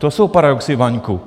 To jsou paradoxy, Vaňku...